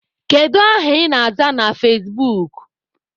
Kedu aha ị na-aza na fezbuk?